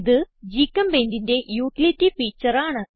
ഇത് GChemPaintന്റെ utility feature ആണ്